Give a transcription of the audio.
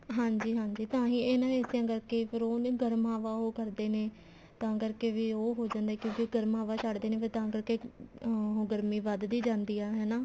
ਹਾਂਜੀ ਹਾਂਜੀ ਤਾਂਹੀ ਇਹਨਾ ਏਸੀਆਂ ਕਰਕੇ ਫ਼ੇਰ ਉਹਨੇ ਗਰਮ ਹਵਾ ਉਹ ਕਰਦੇ ਨੇ ਤਾਂ ਕਰਕੇ ਉਹ ਹੋ ਜਾਂਦਾ ਕਿਉਂਕਿ ਗਰਮ ਹਵਾ ਛੱਡ ਦੇ ਨੇ ਫ਼ੇਰ ਤਾਂ ਕਰਕੇ ਗਰਮੀ ਵੱਧਦੀ ਜਾਂਦੀ ਏ ਹਨਾ